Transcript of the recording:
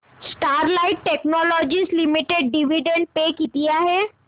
Sterlite Technologies Limited dividend पे किती आहे